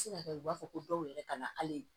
Se ka kɛ u b'a fɔ ko dɔw yɛrɛ kana hali